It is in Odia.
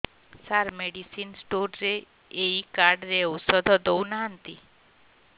ସାର ମେଡିସିନ ସ୍ଟୋର ରେ ଏଇ କାର୍ଡ ରେ ଔଷଧ ଦଉନାହାନ୍ତି